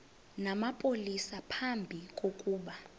namapolisa phambi kokuba